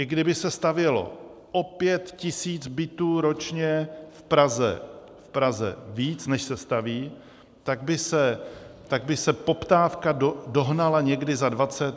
I kdyby se stavělo o pět tisíc bytů ročně v Praze víc, než se staví, tak by se poptávka dohnala někdy za 20, 25 let.